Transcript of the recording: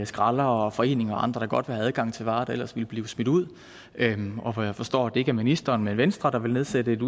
skraldere og foreninger og andre godt vil have adgang til varer der ellers ville blive smidt ud og hvor jeg forstår at det ikke er ministeren men venstre der vil nedsætte et